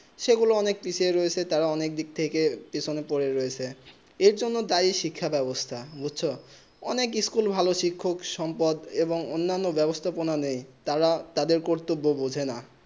সেই গুলু অনেক পিছে রয়েছে তারা অনেক দিক থেকে পিছনে পরে রয়েছে এর জন্য দেয় শিক্ষা বেবস্তা অনেক সচল ভালো শিক্ষক সম্পদ এবং অন্য বেবস্তা নেই তারা তাদের কর্তভ বোঝে না